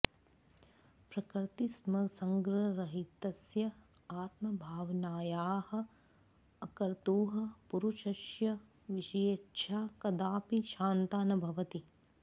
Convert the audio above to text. प्रकृतिसंसर्गरहितस्य आत्मभावनायाः अकर्तुः पुरुषस्य विषयेच्छा कदापि शान्ता न भवति